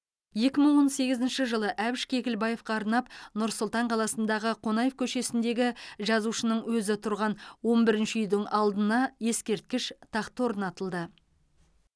екі мың он сегізінші жылы әбіш кекілбаевқа арнап нұр сұлтан қаласындағы қонаев көшесінлдегі жазушының өзі тұрған он бірінші үйдің алдына ескерткіш тақта орнатылды